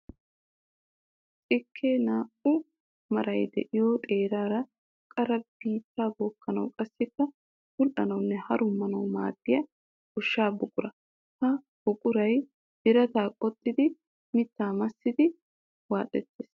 Xikke naa'u maray de'iyo xeerara qara biitta bookanawu qassikka bula'anawunne harummanawu maadiya gosha buqura. Ha buqura birata qoxxiddi mitta massidi waaxettees.